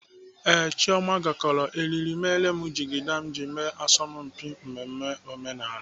Ee, Chioma gakọrọ eriri mere jigida m ji eme asọmpi mmemme omenala.